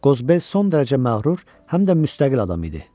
Qozbel son dərəcə məğrur, həm də müstəqil adam idi.